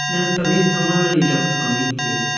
यहाँ सभी सामान एलेक्ट्रोनिक के है।